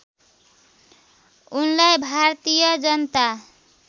उनलाई भारतीय जनता